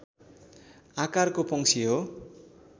आकारको पंक्षी हो